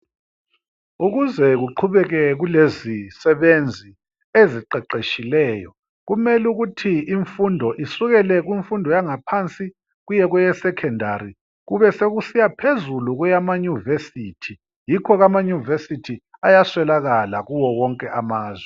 ukuze kuqhubeke kulezisebenzi eziqeqetshileyo kumele ukuthi imfundo isukele kumfundo yangaphansi kuye kweye secondary kubesekusiya phezulu kweyamanyuvesithi yikho ke ama nyuvesithi ayaswelakala kuwo wonke amazwe